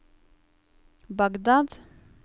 Bagdad